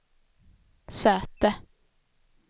säte